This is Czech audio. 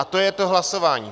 A to je to hlasování.